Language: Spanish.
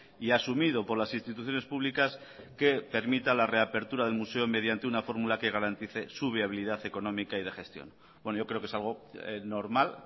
y asumido por las instituciones públicas que permita la reapertura del museo mediante una fórmula que garantice su viabilidad económica y de gestión yo creo que es algo normal